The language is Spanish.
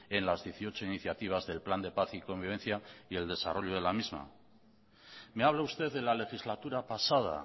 en las dieciocho iniciativas del plan de paz y convivencia y el desarrollo de la misma me habla usted de la legislatura pasada